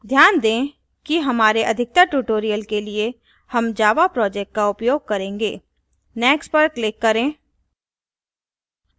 ध्यान दें कि हमारे अधिकतर tutorials के लिए हम java project का उपयोग करेंगे next पर click करें